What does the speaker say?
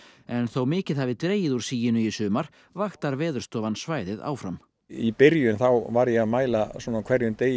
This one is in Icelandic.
en þó mikið hafi dregið úr siginu í sumar vaktar Veðurstofan svæðið áfram í byrjun var ég að mæla á hverjum degi